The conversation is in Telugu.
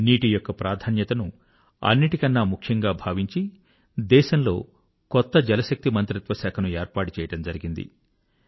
నీటి యొక్క ప్రాధాన్యతను అన్నిటికన్నా ముఖ్యంగా భావించి దేశంలో కొత్త జలశక్తి మంత్రిత్వశాఖను ఏర్పాటు చేయడం జరిగింది